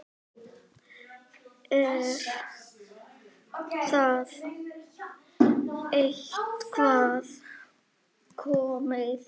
Er það eitthvað komið?